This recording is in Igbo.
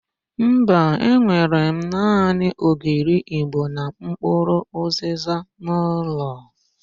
Mba, enwere m naanị ogiri ịgbo na mpkụrụ ụzịza n'ụlọ.